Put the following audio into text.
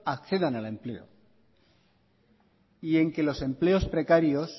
accedan al empleo y en que los empleos precarios